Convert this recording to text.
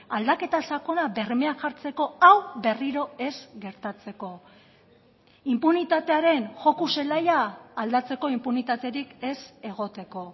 aldaketa sakona bermean jartzeko hau berriro ez gertatzeko inpunitatearen joko zelaia aldatzeko inpunitaterik ez egoteko